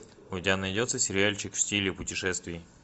у тебя найдется сериальчик в стиле путешествий